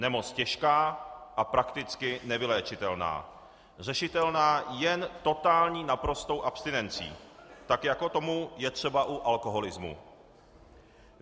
Nemoc těžká a prakticky nevyléčitelná, řešitelná jen totální, naprostou abstinencí, tak jako je tomu třeba u alkoholismu.